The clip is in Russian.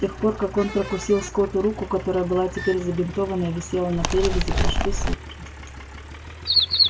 с тех пор как он прокусил скотту руку которая была теперь забинтована и висела на перевязи прошли сутки